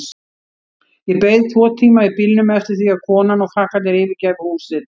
Ég beið tvo tíma í bílnum eftir því að konan og krakkarnir yfirgæfu húsið.